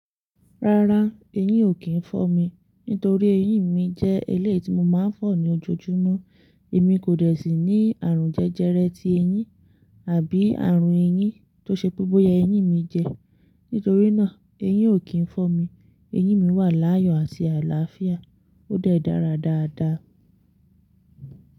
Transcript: Rárá, eyín ò kí ń fọ́ mi. Nítorí eyín mi jẹ́ eléyìí ti mo máa ń fọ̀ ní ojoojúmọ́. Èmi kò dẹ̀ sí ní àrùn jẹjẹrẹ ti eyín àbí àrùn eyín tó ṣe pé bóyá eyín mi jẹ. Nítorí náà, eyín ò kí ń fọ́ mi. Eyín mi wà láàyò àti àlàáfíà. Ó dẹ̀ dára dáadáa.